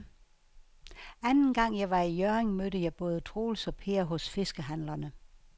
Anden gang jeg var i Hjørring, mødte jeg både Troels og Per hos fiskehandlerne.